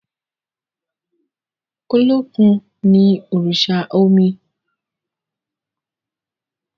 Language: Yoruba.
Olókùn no òrìṣà omi.